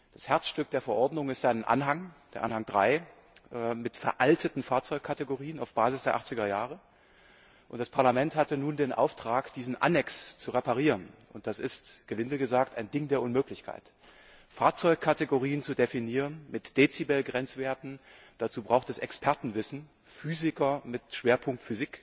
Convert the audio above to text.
Das Herzstück der Verordnung ist Anhang 3 mit veralteten Fahrzeugkategorien auf Basis der 80er Jahre, und das Parlament hatte nun den Auftrag, diesen Anhang zu reparieren, und das ist, gelinde gesagt, ein Ding der Unmöglichkeit. Fahrzeugkategorien zu definieren mit Dezibelgrenzwerten, dazu braucht es Expertenwissen, Physiker mit Schwerpunkt